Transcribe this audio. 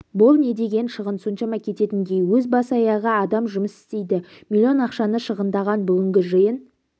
бұл не деген шығын соншама кететіндей өзі бас-аяғы адам жұмыс істейді миллион ақшаны шығындаған бүгінгі жиын